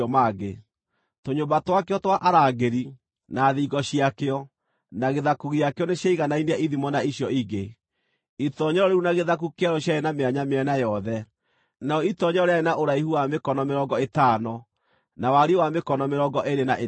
Tũnyũmba twakĩo twa arangĩri, na thingo ciakĩo, na gĩthaku gĩakĩo nĩciaiganainie ithimo na icio ingĩ. Itoonyero rĩu na gĩthaku kĩarĩo ciarĩ na mĩanya mĩena yothe. Narĩo itoonyero rĩarĩ rĩa ũraihu wa mĩkono mĩrongo ĩtano, na wariĩ wa mĩkono mĩrongo ĩĩrĩ na ĩtano.